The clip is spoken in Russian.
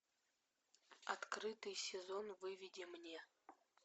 открытый сезон выведи мне